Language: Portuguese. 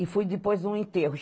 E fui depois no enterro.